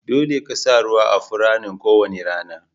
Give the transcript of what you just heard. Dolle ka sa ruwa a Furannin ko wani rana.